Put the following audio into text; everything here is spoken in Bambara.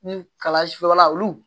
Ni kala si feerela olu